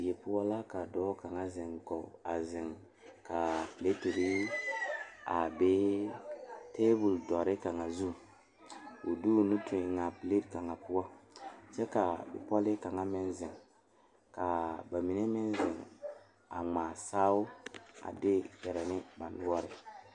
Die pɔge la ka Sakubiiri a are kaa dɔɔ su kpare buluu a teɛ o nu Kyaara sakubie kpankpane a Sakubiiri mine lerɛ ba nuure ŋmaa saao a de gaare ne ba noɔre.